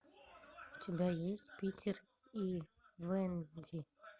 у тебя есть питер и венди